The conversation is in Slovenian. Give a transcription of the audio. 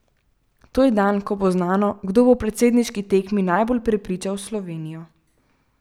To je dan, ko bo znano, kdo bo v predsedniški tekmi najbolj prepričal Slovenijo.